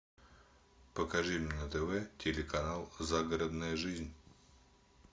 покажи мне на тв телеканал загородная жизнь